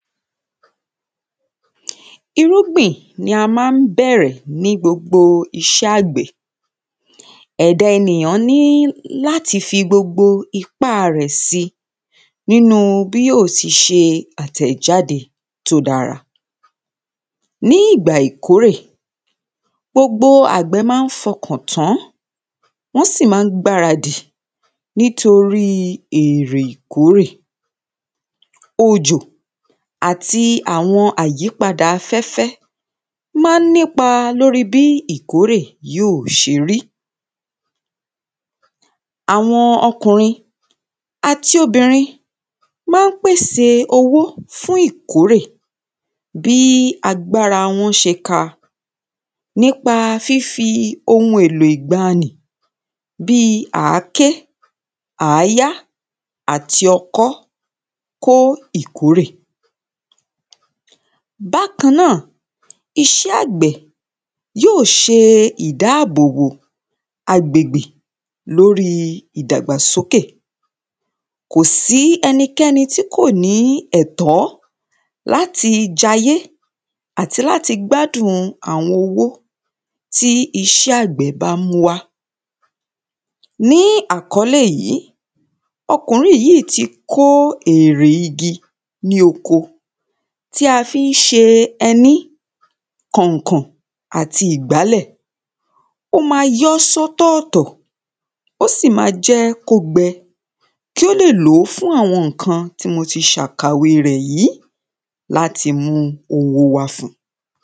irúgbìn ni a máa ń bẹ̀rẹ̀ ní gbogbo iṣẹ́ àgbẹ̀ ẹ̀da ènìyàn ní láti fi gbogbo ipá rẹ̀ si nínúu bí yóò ti ṣe àtẹ̀jáde tó dára ní ìgbà ìkórè gbogbo àgbẹ̀ máa ń fọkàn tán wọ́n sì máa ń gbáradì nítorí èrè ìkórè òjò àti àwọn àyípadà afẹ́fẹ́ máa ń nípa lórí bí ìkórè yóò ṣe rí àwọn ọkùnrin àti obìnrin máa ń pèsè owó fún ìkórè bí agbára wọn ṣe ka nípa fífi ohun èlò ìgbáanì bíi àáké, àáyá àti ọkọ́ kó ìkórè bákan náà iṣé àgbẹ̀ yóò ṣe ìdábòbò agbègbè lóríi ìdàgbàsókè kò sí ẹnikẹ́ni tí kò ní ẹ̀tọ̀ láti jayé àti láti gbádùn ùn àwọn owó tí iṣẹ́ àgbẹ̀ bá mú wá ní àkọ́lé yìí, ọkùnrin yí ti kó èrè igi ní oko tí a fí ń ṣe ẹní, kànkàn àti ìgbálẹ̀ ó máa yọ́ sọ́tọ̀ọ̀tọ̀ ó sì ma jẹ́ kó gbẹ kí ó lè lòó fún àwọn ǹkan tí mo ti ṣàkàwe rẹ̀ yìí láti mú owó wá fun